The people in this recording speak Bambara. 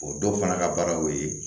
O dɔw fana ka baara y'o ye